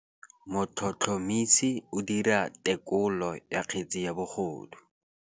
Motlhotlhomisi o dira têkolô ya kgetse ya bogodu.